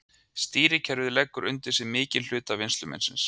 Stýrikerfið leggur undir sig mikinn hluta vinnsluminnisins.